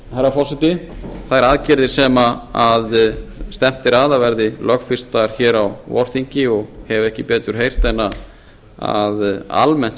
herra forseti þær aðgerðir sem stefnt er að að verði lögfestar hér á vorþingi og hef ekki betur heyrt en að almennt